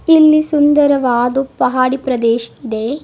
ಇಲ್ಲಿ ಸುಂದರವಾದು ಪಹಡಿ ಪ್ರದೇಶ್ ಇದೆ.